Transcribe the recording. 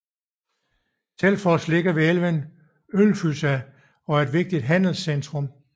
Selfoss ligger ved elven Ölfusá og er et vigtigt handelscentrum